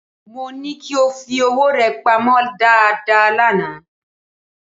Mó ní kí o fi owó rẹ pamọ́ dáadáa lánàá